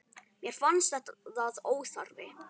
Mér fannst það óþarfi.